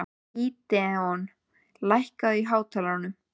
Gídeon, lækkaðu í hátalaranum.